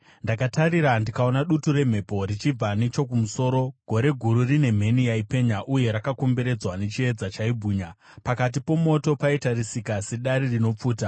Ndakatarira, ndikaona dutu remhepo richibva nechokumusoro, gore guru rine mheni yaipenya uye rakakomberedzwa nechiedza chaibwinya. Pakati pomoto paitarisika sedare rinopfuta,